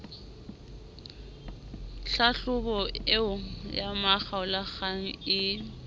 hlahlobo eo ya makgaolakgang ee